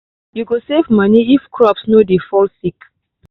you go save money if crops no dey fall sick